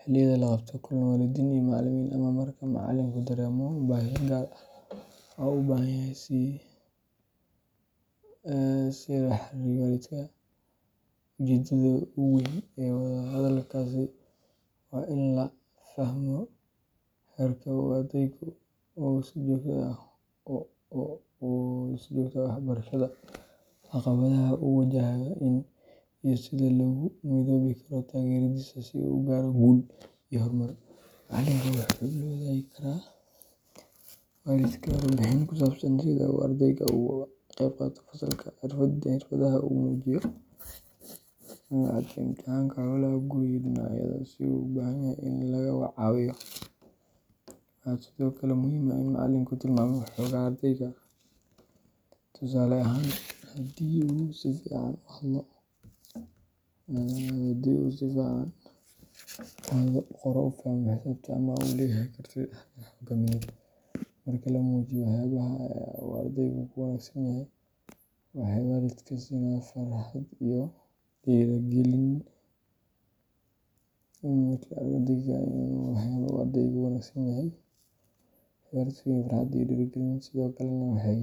xilliyada la qabto kulan waalidiin iyo macalimiin ama marka macalinku dareemo baahi gaar ah oo u baahan in si gaar ah loola xiriiro waalidka. Ujeedada ugu weyn ee wada hadalkaasi waa in la fahmo heerka uu ardaygu ka joogo waxbarashada, caqabadaha uu wajahayo, iyo sida loogu midoobi karo taageeradiisa si uu u gaaro guul iyo horumar. Macalinka wuxuu la wadaagi karaa waalidka warbixin ku saabsan sida uu ardaygu uga qeybqaato fasalka, xirfadaha uu muujiyo, dhibcaha imtixaannada, hawlaha guri, iyo dhinacyada uu u baahan yahay in laga caawiyo. Waxaa sidoo kale muhiim ah in macalinku tilmaamo xoogagga ardayga tusaale ahaan haddii uu si fiican u hadlo, u qoro, u fahmo xisaabta ama uu leeyahay karti hoggaamineed. Marka la muujiyo waxyaabaha uu ardaygu ku wanaagsan yahay, waxay waalidka siisaa farxad iyo dhiirigelin, sidoo kalena waxay.